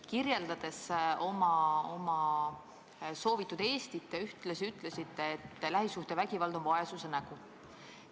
Kirjeldades oma soovitud Eestit, te ühtlasi ütlesite, et lähisuhtevägivald on vaesuse nägu.